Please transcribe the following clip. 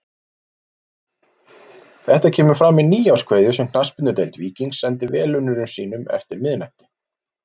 Þetta kemur fram í nýárskveðju sem Knattspyrnudeild Víkings sendi velunnurum sínum eftir miðnætti.